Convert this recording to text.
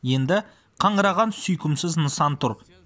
енді қаңыраған сүйкімсіз нысан тұр